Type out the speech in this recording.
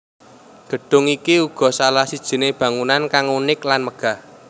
Gedung iki uga salah sijine bangunan kang unik lan megah